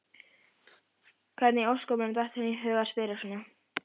Hvernig í ósköpunum datt henni í hug að spyrja svona!